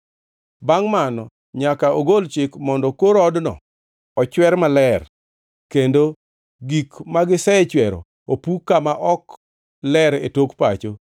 Bangʼ mano to nyaka ogol chik mondo kor odno ochwer maler, kendo gik magisechwero opuk kama ok ler e tok pacho.